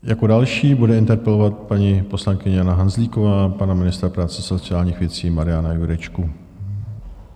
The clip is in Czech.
Jako další bude interpelovat paní poslankyně Jana Hanzlíková pana ministra práce a sociálních věcí Mariana Jurečku.